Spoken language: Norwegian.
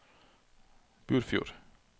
Burfjord